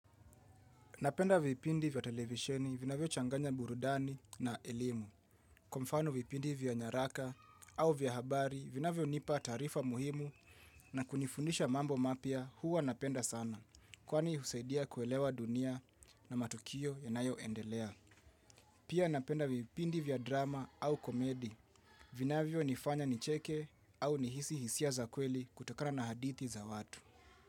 Napenda vipindi vya televisheni vinavyochanganya burudani na elimu. Kwa mfano vipindi vya nyaraka au vya habari vinavyonipa taarifa muhimu na kunifundisha mambo mapya huwa napenda sana. Kwani husaidia kuelewa dunia na matukio yanayoendelea. Pia napenda vipindi vya drama au komedi vinavyonifanya nicheke au nihisi hisia za kweli kutokana na haditi za watu.